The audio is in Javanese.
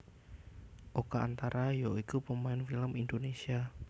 Oka antara ya iku pemain film Indonésia